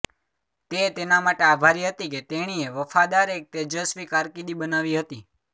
તે તેના માટે આભારી હતી કે તેણીએ વફાદાર એક તેજસ્વી કારકિર્દી બનાવી હતી